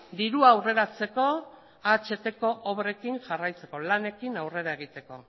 dirua aurreratzeko ahtko obrekin jarraitzeko lanekin aurrera egiteko